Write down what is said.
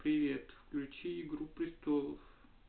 привет включи игру престолов